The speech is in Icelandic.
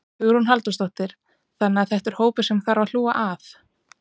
Hugrún Halldórsdóttir: Þannig að þetta er hópur sem að þarf að hlúa að?